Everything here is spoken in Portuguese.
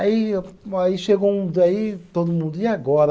Aí o, aí chegou um daí todo mundo, e agora?